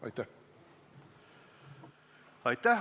Aitäh!